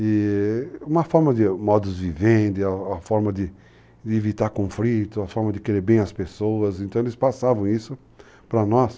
E uma forma de modos de viver, a forma de evitar conflito, a forma de querer bem as pessoas, então eles passavam isso pra nós.